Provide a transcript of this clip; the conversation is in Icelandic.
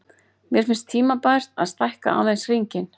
Mér finnst tímabært að stækka aðeins hringinn.